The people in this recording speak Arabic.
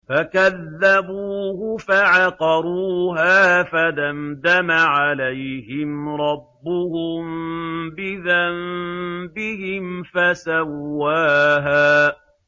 فَكَذَّبُوهُ فَعَقَرُوهَا فَدَمْدَمَ عَلَيْهِمْ رَبُّهُم بِذَنبِهِمْ فَسَوَّاهَا